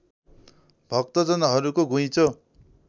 भक्तजनहरूको घुइँचो